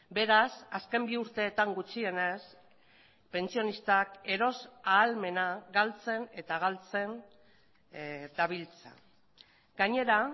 beraz azken bi urteetan gutxienez pentsionistak eros ahalmena galtzen eta galtzen dabiltza gainera